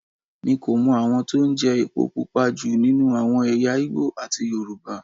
Mi kò mọ àwọn tó ń jẹ epo Pupa jù nínú àwọn ẹ̀yà Ìgbò àti Yorùbá.